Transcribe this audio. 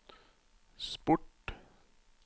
sport